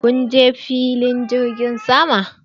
Kunje filin jirgin sama?